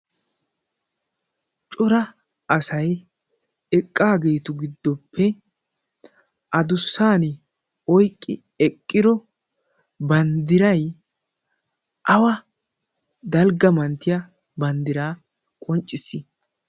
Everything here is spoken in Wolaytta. cora asay eqqaageetu giddoppe adussan oyqqi eqqiro banddirai awa dalgga manttiya banddiraa qonccissoosona.